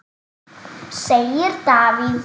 segir Davíð.